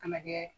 Ka na kɛ